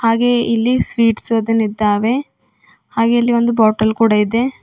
ಹಾಗೆ ಇಲ್ಲಿ ಸ್ವೀಟ್ಸ್ ಅದು ನಿಂದವೇ ಹಾಗೆ ಇಲ್ಲಿ ಒಂದು ಬಾಟಲ್ ಕೂಡ ಇದೆ.